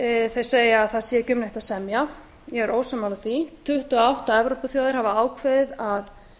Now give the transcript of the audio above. þeir segja að það sé ekki um neitt að semja ég er ósammála því tuttugu og átta evrópuþjóðir hafa ákveðið að